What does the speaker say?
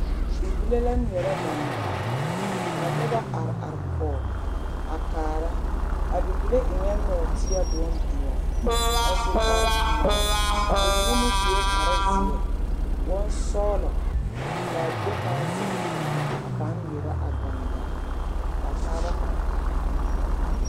Bibile la ŋmeɛrɛ gaŋgaa ka noba are are kɔge a kaara, a bibile eŋɛɛ nɔɔteɛ bondoɔ a su kpare pelaa bamine meŋ sue kpare zeɛ bonsɔgelɔ k'a bie pãã zeŋ a pãã ŋmeɛrɛ a gaŋgaa k'a taaba pãã kaara.